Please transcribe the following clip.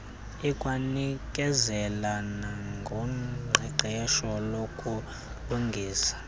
ikwanikezela nangoqeqesho lokulungisa